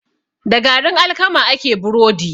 Da garin alkama ake burodi.